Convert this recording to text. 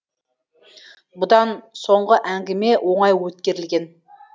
бұдан соңғы әңгіме оңай өткерілген